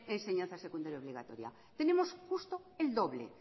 enseñanza secundaria obligatoria tenemos justo el doble